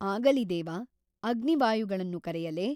ಆಗಲಿ ದೇವ ಅಗ್ನಿ ವಾಯುಗಳನ್ನು ಕರೆಯಲೇ ?